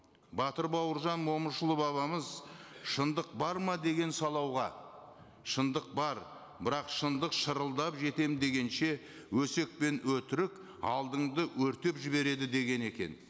батыр бауыржан момышұлы бабамыз шындық бар ма деген шындық бар бірақ шындық шырылдап жетемін дегенше өсек пен өтірік алдыңды өртеп жібереді деген екен